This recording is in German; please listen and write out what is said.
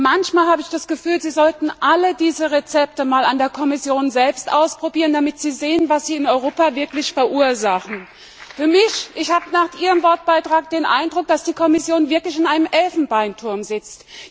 Manchmal habe ich das Gefühl, Sie sollten alle diese Rezepte einmal an der Kommission selbst ausprobieren, damit Sie sehen, was Sie in Europa wirklich verursachen. Ich habe nach Ihrem Wortbeitrag den Eindruck, dass die Kommission wirklich in einem Elfenbeinturm sitzt!